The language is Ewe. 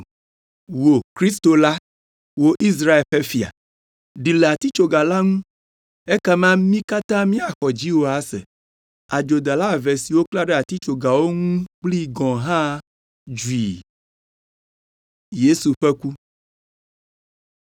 “Wò Kristo la! Wò Israel ƒe Fia! Ɖi le atitsoga la ŋu, ekema mí katã míaxɔ dziwò ase!” Adzodala eve siwo woklã ɖe atitsogawo ŋu kpli gɔ̃ hã dzui.